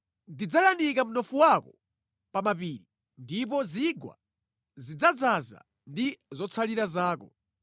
Ndidzayanika mnofu wako pa mapiri ndipo zigwa zidzadzaza ndi zotsalira zako.